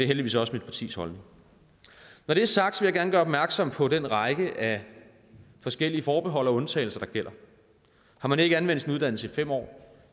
heldigvis også mit partis holdning når det er sagt vil jeg gerne gøre opmærksom på den række af forskellige forbehold og undtagelser der gælder har man ikke anvendt sin uddannelse i fem år